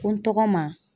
Ko n tɔgɔ ma